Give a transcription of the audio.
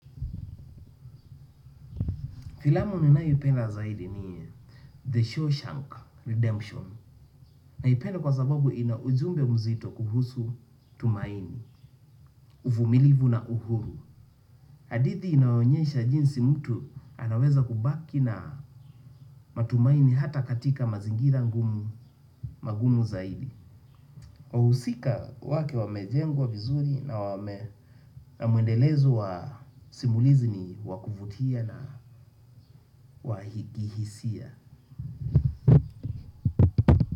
Filamu ninaipenda zaidi ni The Shawshank Redemption. Naipenda kwa sababu ina ujumbe mzito kuhusu tumaini, uvumilivu na uhuru. Hadithi inaonyesha jinsi mtu anaweza kubaki na matumaini hata katika mazingira ngumu magumu zaidi. Wahusika wake wamejengwa vizuri na wame na mwendelezo wa simulizi ni wa kuvutia na wahikihisia.